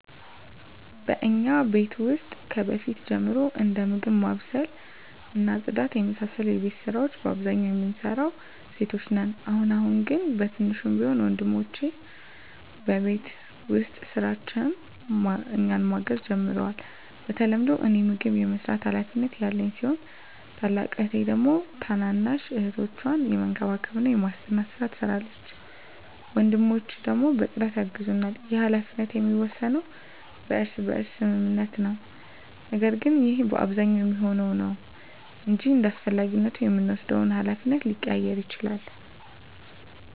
በእኛ ቤት ውስጥ ከበፊት ጀምሮ እንደ ምግብ ማብሰል እና ጽዳት የመሳሰሉ የቤት ስራወች በአብዛኛው የምንሰራው ሴቶች ነን። አሁን አሁን ግን በትንሹም ቢሆን ወንድሞቸ በቤት ውስጥ ስራዎች እኛን ማገዝ ጀምረዋል። በተለምዶ እኔ ምግብ የመስራት ሀላፊነት ያለኝ ሲሆን ታላቅ እህቴ ደግሞ ታናናሽ እህቶቻችንን የመንከባከብና የማስጠናት ስራ ትሰራለች። ወንድሞቸ ደግሞ በፅዳት ያግዛሉ። ይህ ሀላፊነት የሚወሰነው በእርስ በርስ ስምምነት ነው። ነገር ግን ይህ በአብዛኛው የሚሆነው ነው እንጅ እንዳስፈላጊነቱ የምንወስደው ሀላፊነት ሊቀያየር ይችላል።